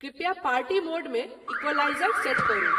कृपया party mode मे equaliser set करू।